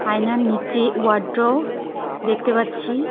আয়নার নিচে ওয়ারড্র দেখতে পাচ্ছি।